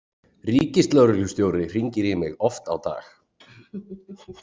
Ríkislögreglustjóri hringir í mig oft á dag.